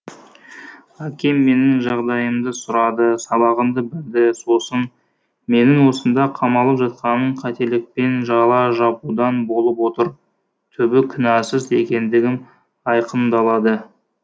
әкем менің жағдайымды сұрады сабағымды білді сосын менің осында қамалып жатқаным қателікпен жала жабудан болып отыр түбі кінәсіз екендігім айқындалады